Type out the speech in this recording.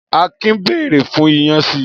Akin bèrè fún iyán si.